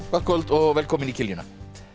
gott kvöld og velkomin í kiljuna